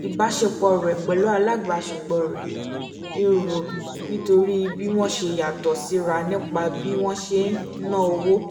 ìbáṣepọ̀ rẹ̀ pẹ̀lú alábàáṣepọ̀ rẹ ń rú nítorí bí wọ́n ṣe yàtọ̀ síra nípa bí wọ́n ṣe na owó